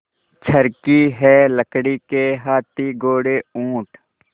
चर्खी है लकड़ी के हाथी घोड़े ऊँट